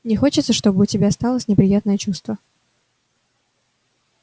не хочется чтобы у тебя осталось неприятное чувство